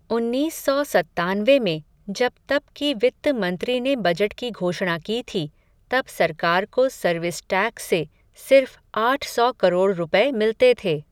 उन्नीस सौ सत्तानवे में, जब तब की वित्त मंत्री ने बजट की घोषणा की थी, तब सरकार को सर्विस टैक्स से, सिर्फ़ आठ सौ करोड़ रुपए मिलते थे.